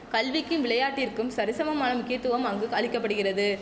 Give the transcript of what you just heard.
கல்விக்கும் விளையாட்டிற்கும் சரிசமமான முக்கியத்துவம் அங்கு அளிக்க படுகிறது